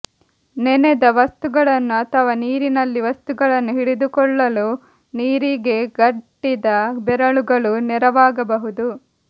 ನೆನೆದ ವಸ್ತುಗಳನ್ನು ಅಥವಾ ನೀರಿನಲ್ಲಿ ವಸ್ತುಗಳನ್ನು ಹಿಡಿದುಕೊಳ್ಳಲು ನಿರಿಗೆಗಟ್ಟಿದ ಬೆರಳುಗಳು ನೆರವಾಗಬಹುದು